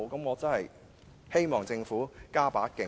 我真的希望政府加把勁。